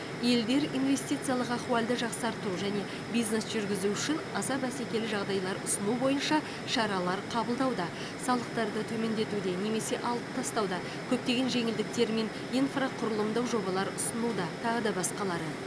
елдер инвестициялық ахуалды жақсарту және бизнес жүргізу үшін аса бәсекелі жағдайлар ұсыну бойынша шаралар қабылдауда салықтарды төмендетуде немесе алып тастауда көптеген жеңілдіктер мен инфрақұрылымдық жобалар ұсынуда тағы да басқалары